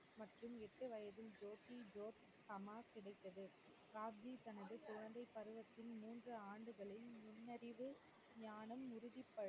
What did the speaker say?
மற்றும் எட்டுவயதில் ஜோதி ஜோத் சமாஜ் கிடைத்தது. தனது குழந்தை பருவத்தின் மூன்று ஆண்டுகளில் முன்னறிவு ஞானம் உறுதிப்